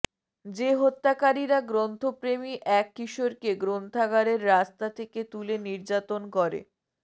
যে হত্যাকারীরা গ্রন্থপ্রেমী এক কিশোরকে গ্রন্থাগারের রাস্তা থেকে তুলে নির্যাতন করে